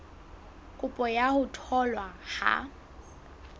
kopo ya ho tholwa ha